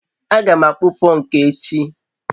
a ga m akpụ pọnkụ echi